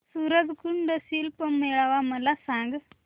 सूरज कुंड शिल्प मेळावा मला सांग